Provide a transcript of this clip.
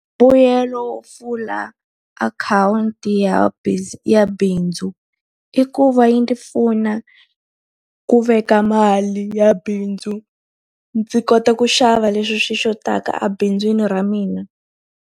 Mbuyelo wo pfula akhawunti ya ya bindzu, i ku va yi ndzi pfuna ku veka mali ya bindzu ndzi kota ku xava leswi swi xotaka ebindzwini ra mina.